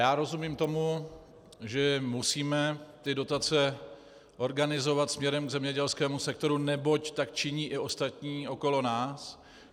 Já rozumím tomu, že musíme ty dotace organizovat směrem k zemědělskému sektoru, neboť tak činí i ostatní okolo nás.